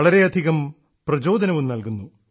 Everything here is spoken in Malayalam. വളരെയധികം പ്രചോദനവും നല്കുന്നു